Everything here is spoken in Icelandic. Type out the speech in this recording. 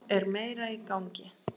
Þá er meira í gangi.